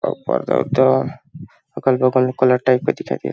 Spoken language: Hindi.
पर्दा वरदा अगल- बगल में कोई कॉलर टैग भी दिखत हे।